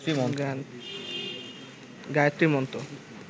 Gayatri Mantra